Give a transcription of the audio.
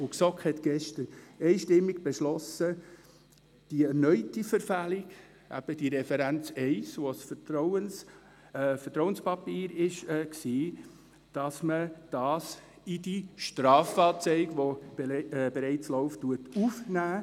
Die GSoK hat gestern einstimmig beschlossen, die erneute Verfehlung, eben die Referenz 1, die zu einem vertraulichen Papier gehört, in die bereits laufende Strafanzeige aufzunehmen.